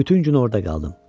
Bütün gün orada qaldım.